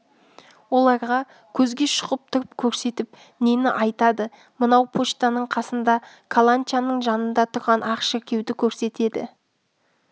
оларға көзге шұқып тұрып көрсетіп нені айтады мынау почтаның қасында каланчаның жанында тұрған ақ шіркеуді көрсетеді